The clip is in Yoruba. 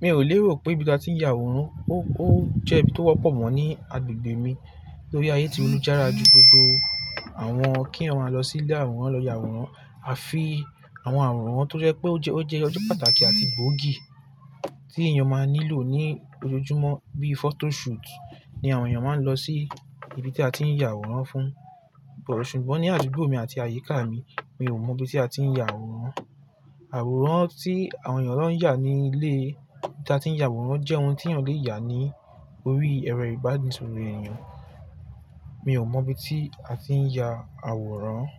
mi ò léèrò pé ibi tí a ti ń ya àwòrán ó jẹ́ ibi tó wọ́pọ̀ mọ́ ní agbègbè mi torí ayé ti lújára ju gbogbo àwọn kí éyan mà lọ sí ilé àwòrán lọ ya àwòrán. A fi àwọn àwòrán to jé pé ó jẹ́ ó jé ọjọ́ pàtàkì àti gbòógì tí èèyàn máa nílò ní ojoojúmọ́ bí photo shoot ni àwọn èèyàn máa ń lọ sí ibi tí a ti ń ya àwòrán fún. Ṣùgbọ́n ní adugbò mi àti àyíká mi, mi ò mọ ibi tí a ti ń ya àwòrán. Àwòrán tí àwọn èèyàn lọ ń yà ní ilé tí a ti ń ya àwòrán jẹ́ ohun tí èèyàn lè yà ní orí ẹ̀rọ ìbánisóró èèyàn. Mi ò mọ ibi tí a ti ń ya àwòrán.